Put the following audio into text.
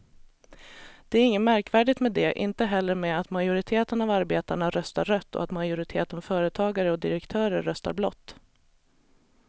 Det är inget märkvärdigt med det, inte heller med att majoriteten av arbetarna röstar rött och att majoriteten företagare och direktörer röstar blått.